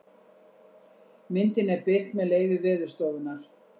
myndin er birt með leyfi veðurstofunnar